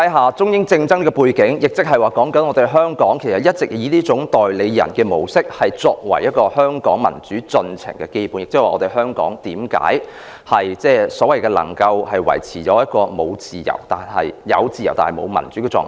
在這樣的中英政治爭拗的背景下，香港一直以這種代理人的模式運作，作為香港民主進程的基本，這亦是為何香港能夠維持一種所謂"有自由，但沒有民主"的狀況。